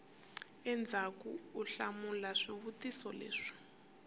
endzhaku u hlamula swivutiso leswi